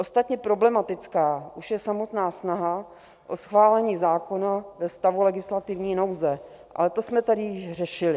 Ostatně problematická už je samotná snaha o schválení zákona ve stavu legislativní nouze, ale to jsme tady již řešili.